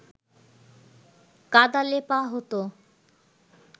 কাদা লেপা হতো